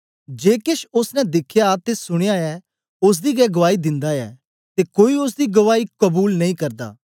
जे केछ ओसने दिखया ते सुनया ऐ ओसदी गै गुआई दिंदा ऐ ते कोई ओसदी गुआई कबूल नेई करदा